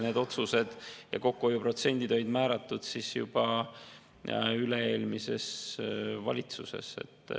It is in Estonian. Need otsused on tehtud ja kokkuhoiuprotsendid olid määratud juba üle-eelmises valitsuses.